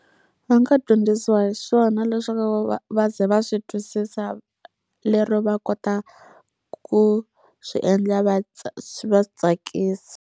Va nga dyondzisiwa hi swona leswaku va va va ze va swi twisisa lero va kota ku swi endla va swi va swi tsakisa.